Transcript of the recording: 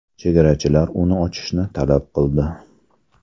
Chegarachilar uni ochishni talab qildi.